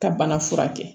Ka bana furakɛ